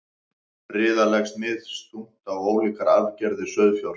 riða leggst misþungt á ólíkar arfgerðir sauðfjár